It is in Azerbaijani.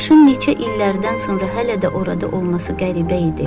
Daşın neçə illərdən sonra hələ də orada olması qəribə idi.